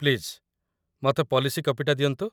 Please, ମତେ policy କପିଟା ଦିଅନ୍ତୁ ।